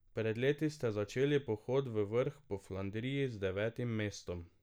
Pred leti ste začeli pohod v vrh Po Flandriji z devetim mestom.